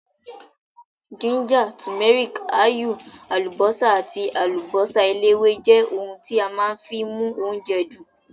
Gíńjà, tùméríkì, áyù, àlùbọ́sà àti àlùbọ́sà eléwé jẹ́ ohun tí a má fi ń mú oúnjẹ dùn.